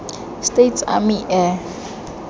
states army air